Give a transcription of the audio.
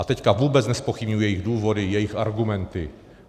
A teď vůbec nezpochybňuji jejich důvody, jejich argumenty.